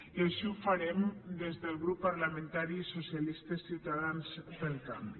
i així ho farem des del grup parlamentari socialistes ciutadans pel canvi